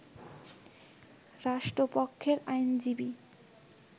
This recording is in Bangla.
রাষ্ট্রপক্ষের আইনজীবী